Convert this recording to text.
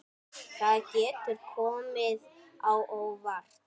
Það getur komið á óvart.